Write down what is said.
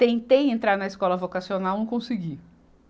Tentei entrar na escola vocacional, não consegui.